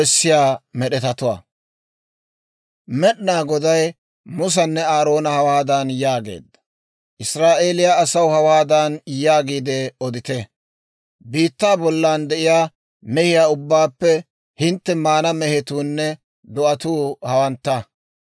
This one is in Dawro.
«Israa'eeliyaa asaw hawaadan yaagiide odite; ‹Biittaa bollan de'iyaa mehiyaa ubbaappe hintte maana mehetuunne do'atuu hawantta.